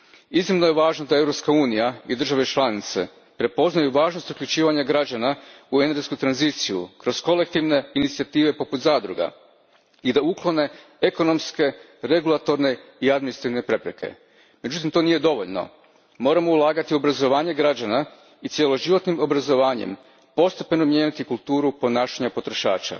Iznimno je važno da Europska unija i države članice prepoznaju važnost uključivanja građana u energetsku tranziciju kroz kolektivne inicijative poput zadruga i da uklone ekonomske, regulatorne i administrativne prepreke. Međutim, to nije dovoljno. Moramo ulagati u obrazovanje građana i cjeloživotnim obrazovanjem postepeno mijenjati kulturu ponašanja potrošača.